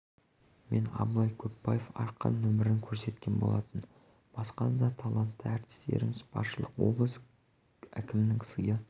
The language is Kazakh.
мен абылай көпбаев арқан нөмірін көрсеткен болатын басқа да талантты рістеріміз баршылық облыс кімінің сыйы